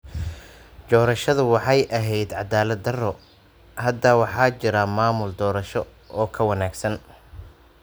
Doorashadu waxay ahayd cadaalad darro. Hadda waxaa jira maamul doorasho oo ka wanaagsan.